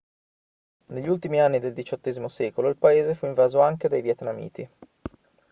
negli ultimi anni del xviii secolo il paese fu invaso anche dai vietnamiti